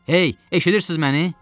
Hey, eşidirsiz məni?